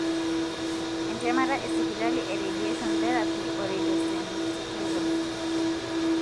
entemata e sipitali e radiation therapy o radiosensitizers.